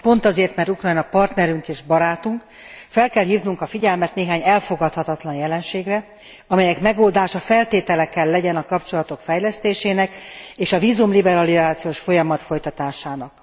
De pont azért, mert Ukrajna partnerünk és barátunk, fel kell hívnunk a figyelmet néhány elfogadhatatlan jelenségre, amelyek megoldása feltétele kell legyen a kapcsolatok fejlesztésének és vízumliberalizációs folyamat folytatásának.